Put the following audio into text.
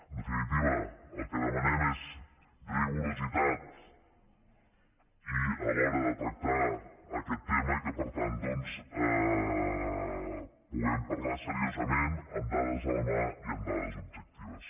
en definitiva el que demanem és rigor a l’hora de tractar aquest tema i que per tant doncs puguem parlar seriosament amb dades a la mà i amb dades objectives